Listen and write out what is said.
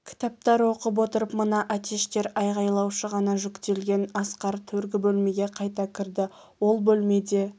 кітаптар оқып отырып мына әтештер айғайлаушы ғана жүктелген асқар төргі бөлмеге қайта кірді ол бөлмеде